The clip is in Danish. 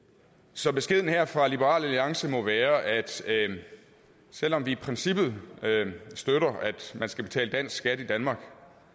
så beskeden her fra liberal alliance må være at selv om vi i princippet støtter at man skal betale dansk skat i danmark